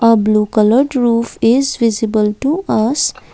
uh blue coloured roof is visible to us.